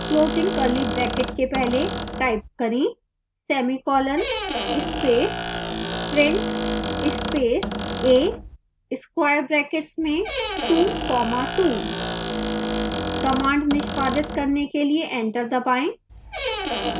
closing curly bracket के पहले type करें semicolon space print space a square brackets में 2 comma 2